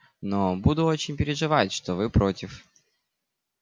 но буду очень переживать что вы против